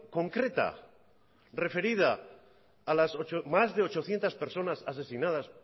concreta referida a las más de ochocientos personas asesinadas